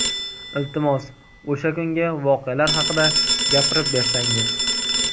Iltimos, o‘sha kungi voqealar haqida gapirib bersangiz.